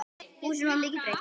Húsinu var mikið breytt.